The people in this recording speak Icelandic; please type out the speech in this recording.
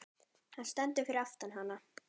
Hann stendur fyrir aftan hana.